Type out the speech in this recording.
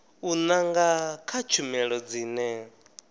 u nanga kha tshumelo dzine